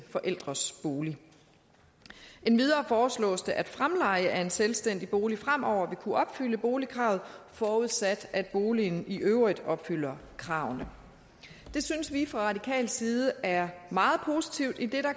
forældres bolig endvidere foreslås det at fremleje af en selvstændig bolig fremover vil kunne opfylde boligkravet forudsat at boligen i øvrigt opfylder kravene det synes vi fra radikal side er meget positivt idet der